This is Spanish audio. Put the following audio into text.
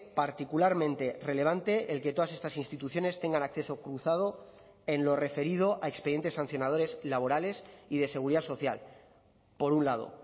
particularmente relevante el que todas estas instituciones tengan acceso cruzado en lo referido a expedientes sancionadores laborales y de seguridad social por un lado